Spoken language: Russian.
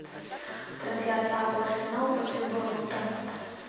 трансляция апл арсенал против борнмута